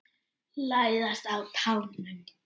Læðast á tánum.